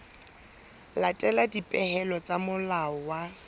latela dipehelo tsa molao wa